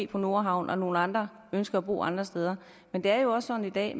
på nordhavnen og nogle andre ønsker at bo nogle andre steder men det er jo også sådan i dag